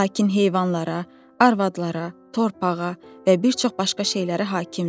Lakin heyvanlara, arvadlara, torpağa və bir çox başqa şeylərə hakimdir.